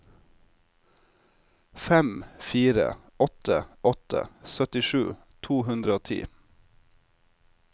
fem fire åtte åtte syttisju to hundre og ti